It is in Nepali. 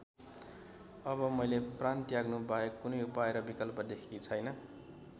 अब मैले प्राण त्याग्नुबाहेक कुनै उपाय र विकल्प देखेकी छैन।